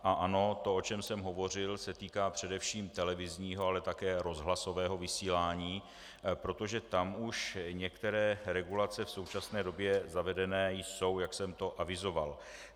A ano, to, o čem jsem hovořil, se týká především televizního, ale také rozhlasového vysílání, protože tam už některé regulace v současné době zavedené jsou, jak jsem to avizoval.